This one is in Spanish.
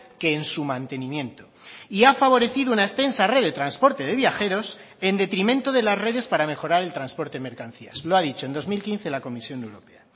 que en su mantenimiento y ha favorecido una extensa red de transporte de viajeros en detrimento de las redes para mejorar el transporte de mercancías lo ha dicho en dos mil quince la comisión europea